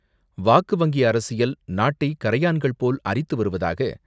"வாக்கு வங்கி அரசியல் " நாட்டை கரையான்கள் போல் அரித்து வருவதாக